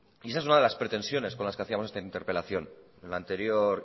y esa es una de las pretensiones con las que hacíamos esta interpelación en la anterior